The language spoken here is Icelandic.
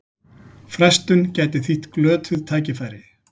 Frestun gæti þýtt glötuð tækifæri